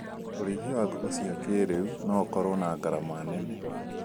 ũrĩithia wa ngũkũ cia kĩrĩu nĩũkoragwo na ngarama nene